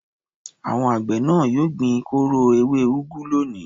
Àwọn àgbẹ̀ náà yóò gbin kóró ewé úgú lónìí.